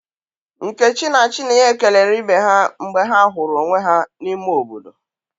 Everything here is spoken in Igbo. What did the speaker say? Nkechi na Chinenye kelere ibe ha mgbe ha huru onwe ya n'ime obodo.